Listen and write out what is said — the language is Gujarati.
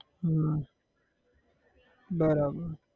હમ બરાબર